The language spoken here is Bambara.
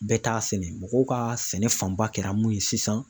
Bɛɛ t'a sɛnɛ mɔgɔw ka sɛnɛ fanba kɛra mun ye sisan.